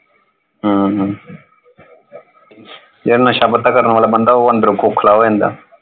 ਹਮ ਜਿਹੜਾ ਨਸ਼ਾ ਪਤਾ ਕਰਨ ਵਾਲਾ ਬੰਦਾ ਉਹ ਅੰਦਰੋਂ ਖੋਖਲਾ ਹੋ ਜਾਂਦਾ।